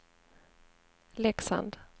Leksand